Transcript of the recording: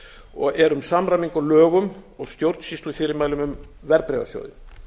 og er um samræmingu á lögum og stjórnsýslufyrirmælum um verðbréfasjóði